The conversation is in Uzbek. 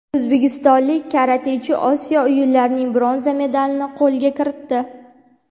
O‘zbekistonlik karatechi Osiyo o‘yinlarining bronza medalini qo‘lga kiritdi.